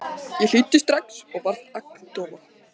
Ég hlýddi strax og varð agndofa.